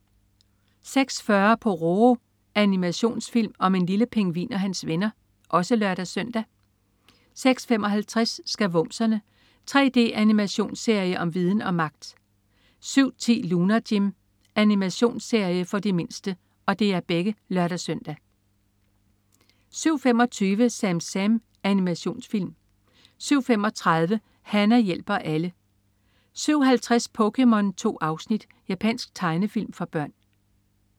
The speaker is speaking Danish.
06.40 Pororo. Animationsfilm om en lille pingvin og hans venner (lør-søn) 06.55 Skavumserne. 3D-animationsserie om viden og magt! (lør-søn) 07.10 Lunar Jim. Animationsserie for de mindste (lør-søn) 07.25 SamSam. Animationsfilm 07.35 Hana hjælper alle 07.50 POKéMON. 2 afsnit. Japansk tegnefilm for børn